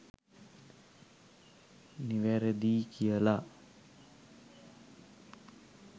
නිවැරැදියි කියලා?